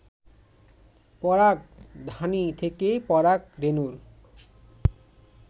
পরাগধানী থেকে পরাগ রেণুর